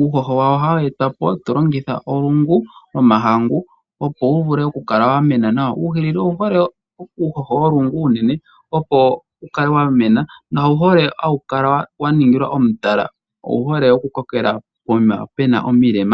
Uuhoho wawo ohawu etwapo tolongitha olungu lwomahangu, opo wuvule okukala wakoka . Uuhilili owuhole uuhoho wolungu uunene opo wukale wamena. Nawukale waningilwa omutala. Owuhole okukokela pokuma puna omilema.